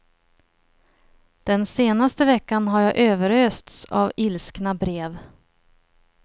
Den senaste veckan har jag överösts av ilskna brev.